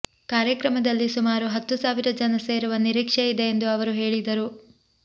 ಕಾರ್ಯಕ್ರಮದಲ್ಲಿ ಸುಮಾರು ಹತ್ತು ಸಾವಿರ ಜನ ಸೇರುವ ನಿರೀಕ್ಷೆ ಇದೆ ಎಂದು ಅವರು ಹೇಳಿದರು